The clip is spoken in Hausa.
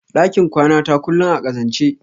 ɗakin kwanata kullum a ƙazance.